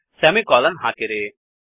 semicolon ಹಾಕಿರಿ